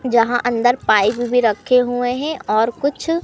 यहां अंदर पाइप भी रखे हुए हैं और कुछ--